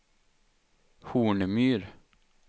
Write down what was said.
Hornmyr